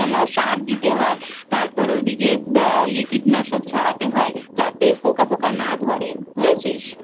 সার দিতে হয় তারপরে ওদিকে কীটনাশক ছড়াতে হয় যাতে পোকাফোঁকা না ধরে বুঝেছিস?